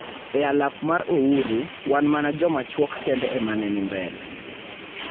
e Alap mar Ouru, wan mana joma chuok kende e ma ne ni mbele.